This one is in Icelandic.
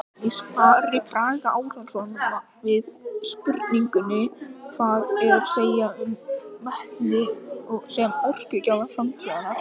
Í svari Braga Árnasonar við spurningunni Hvað er að segja um vetni sem orkugjafa framtíðarinnar?